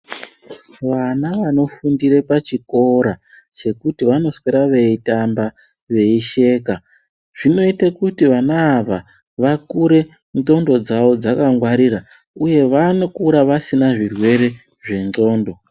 Vana vanofundire pachikora chekuti vanoswera vechitamba veisheka, zvinoite kuti vana ava vakure ndxondo dzavo dzakangwarira, uye vanokura vasina zvirwere zvendxondo.